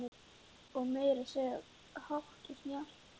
Og það meira að segja hátt og snjallt.